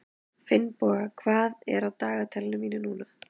Finnboga, hvað er á dagatalinu mínu í dag?